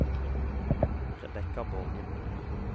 Rebekka Borgen